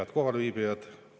Head kohalviibijad!